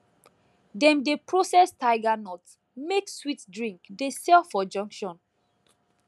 dem dey process tiger nut make sweet drink dey sell for junction